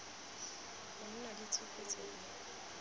go nna le tshupetso e